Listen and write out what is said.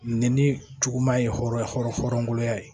Nɛni juguman ye hɔrɔnya ye